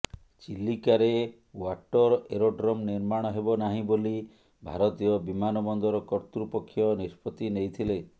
ଚିଲିକାରେ water aerodrome ନିର୍ମାଣ ହେବ ନାହିଁ ବୋଲି ଭାରତୀୟ ବିମାନ ବନ୍ଦର କର୍ତ୍ତୃପକ୍ଷ ନିଷ୍ପତ୍ତି ନେଇଥିଲେ